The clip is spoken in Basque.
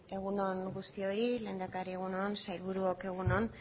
egun on guztioi lehendakari egun on sailburuok egun on